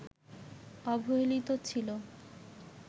অবহেলিত ছিল